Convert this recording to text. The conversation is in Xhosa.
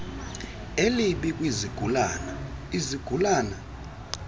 elibi kwizigulana izigulana